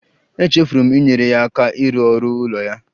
Echefuru m inyere ya aka ịrụ ọrụ ụlọ ya